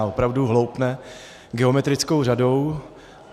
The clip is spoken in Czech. A opravdu hloupne geometrickou řadou.